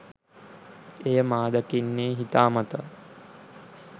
එය මා දකින්නේ හිතාමතා